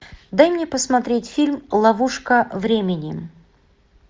дай мне посмотреть фильм ловушка времени